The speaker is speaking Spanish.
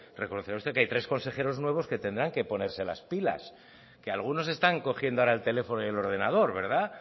reconocerá usted que hay tres consejeros nuevos que tendrán que ponerse las pila que algunos están cogiendo ahora el teléfono y el ordenador verdad